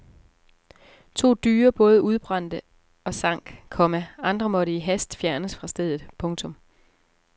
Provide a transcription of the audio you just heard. To dyre både udbrændte og sank, komma andre måtte i hast fjernes fra stedet. punktum